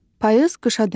Payız qışa dönür.